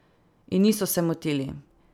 In niso se motili.